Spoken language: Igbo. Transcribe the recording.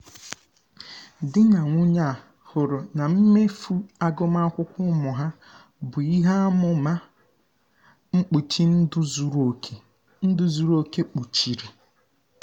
di na nwunye a hụrụ na mmefu agụmakwụkwọ ụmụ ha bụ ihe amụma mkpuchi ndụ zuru oke ndụ zuru oke kpuchiri.